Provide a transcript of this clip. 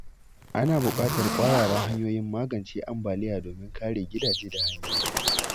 Ana buƙatar ƙwararan hanyoyin magance ambaliya domin kare gidaje da hanyoyi.